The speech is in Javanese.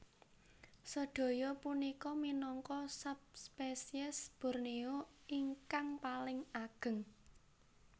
Sedaya punika minangka subspesies Borneo ingkang paling ageng